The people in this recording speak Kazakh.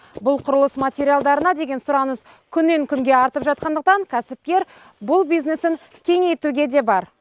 бұл құрылыс материалдарына деген сұраныс күннен күнге артып жатқандықтан кәсіпкер бұл бизнесін кеңейтуге де бар